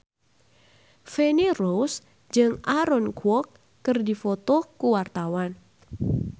Feni Rose jeung Aaron Kwok keur dipoto ku wartawan